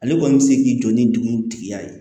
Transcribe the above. Ale kɔni bɛ se k'i jɔ ni dugutigiya ye